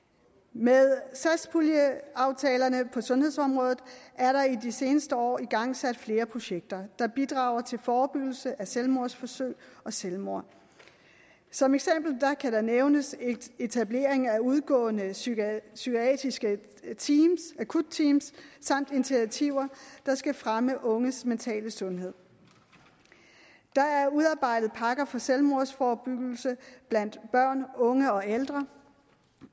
med satspuljeaftalerne på sundhedsområdet er der i de seneste år igangsat flere projekter der bidrager til forebyggelse af selvmordsforsøg og selvmord som eksempel kan nævnes etableringen af udgående psykiatriske akutteams samt initiativer der skal fremme unges mentale sundhed der er udarbejdet pakker for selvmordsforebyggelse blandt børn unge og ældre